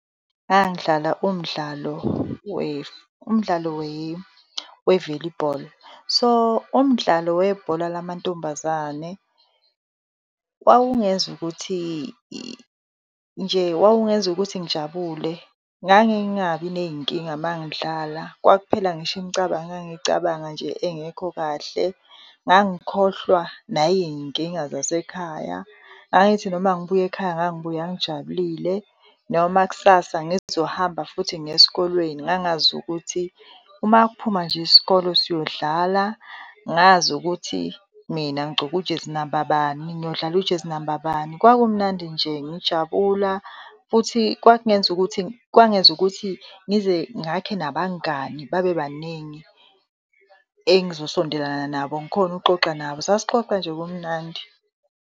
Ngangidlala umdlalo umdlalo we-velleyball. So, umdlalo webhola lamantombazane wawungenza ukuthi nje wawungenza ukuthi ngijabule, ngangingabi ney'nkinga mangidlala kwakuphela ngisho imicabango ngangicabanga nje engekho kahle, ngangikhohlwa nayiy'nkinga zasekhaya. Ngangithi noma ngibuya ekhaya ngangibuya ngijabulile, noma kusasa ngizohamba futhi ngiye esikolweni ngangazi ukuthi uma kuphuma nje isikole siyodlala. Ngazi ukuthi mina ngigcoke ujezi namba bani, ngiyodlala ujezi namba bani, kwakumnandi nje ngijabula. Futhi kwakungenza ukuthi, kwangenza ukuthi ngize ngakhe nabangani babe baningi engizosondelana nabo, ngikhone ukuxoxa nabo. Sasixoxa nje kumnandi.